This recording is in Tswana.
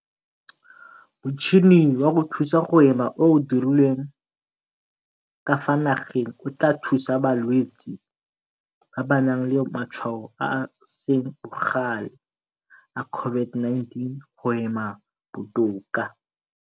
Motšhini wa go thusa go hema o o dirilweng ka fa nageng o tla thusa balwetse ba ba nang le matshwao a a seng bogale a COVID-19 go hema botoka.